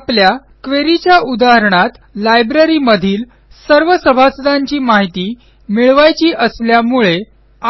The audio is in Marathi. आपल्या queryच्या उदाहरणात लायब्ररीमधील सर्व सभासदांची माहिती मिळवायची असल्यामुळे